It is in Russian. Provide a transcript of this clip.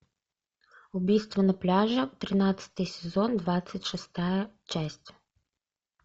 убийство на пляже тринадцатый сезон двадцать шестая часть